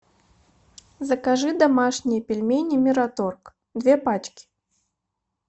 закажи домашние пельмени мираторг две пачки